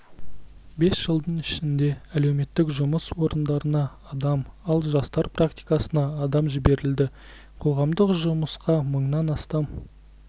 бес жылдың ішінде әлеуметтік жұмыс орындарына адам ал жастар практикасына адам жіберілді қоғамдық жұмысқа мыңнан астам